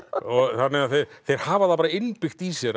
þannig að þeir hafa það bara innbyggt í sér